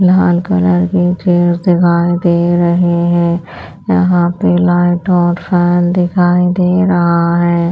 लाल colour के chairs दिखाई दे रहे हैं यहाँ पे लाइट और फैन दिखाई दे रहा है।